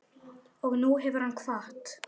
Og nú hefur hann kvatt.